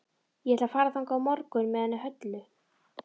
Ég ætla að fara þangað á morgun með henni Höllu.